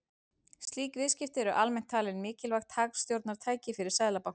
Slík viðskipti eru almennt talin mikilvægt hagstjórnartæki fyrir seðlabanka.